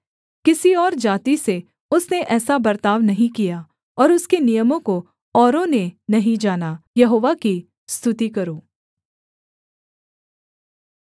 किसी और जाति से उसने ऐसा बर्ताव नहीं किया और उसके नियमों को औरों ने नहीं जाना यहोवा की स्तुति करो